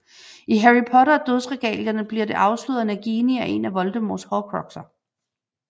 I Harry Potter og Dødsregalierne bliver det afsløret at Nagini er en af Voldemorts horcruxer